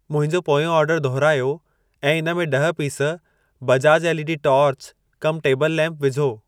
मुंहिंजो पोयों ऑर्डर दुहिरायो ऐं इन में ॾह piece Bajaj LED torch cum table lamp विझो।